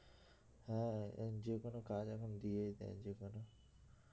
হ্যাঁ যেকোনো কাজ এখন দিয়েই দেয় যেকোনো